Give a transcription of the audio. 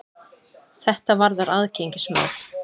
Þetta varðar aðgengismál.